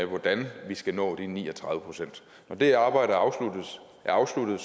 hvordan vi skal nå de ni og tredive procent når det arbejde er afsluttet